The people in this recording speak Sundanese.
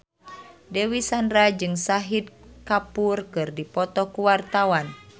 Dewi Sandra jeung Shahid Kapoor keur dipoto ku wartawan